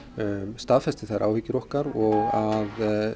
staðfesti þær áhyggjur okkar og að